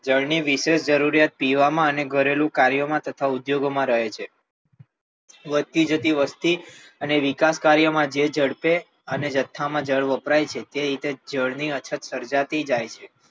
જળની વિશેષ જરૂરિયાત પીવામાં અને ઘરેલુ કાર્યમાં તથા ઉદ્યોગમાં રહે છે વધતી જતી વસ્તી અને વિકાસ કાર્યમાં જે ઝડપે અને જથ્થામાં જળ વપરાય છે તે જળની અસર સર્જાતી થાય છે.